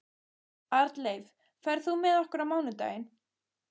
Arnleif, ferð þú með okkur á mánudaginn?